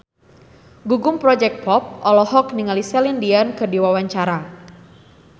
Gugum Project Pop olohok ningali Celine Dion keur diwawancara